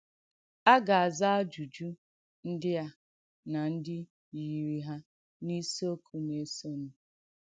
A ga-azà àjùjù ndị̀ a na ndí yìrì hà n’ìsìòkù na-esọ̀nụ̀.